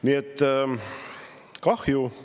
Nii et kahju.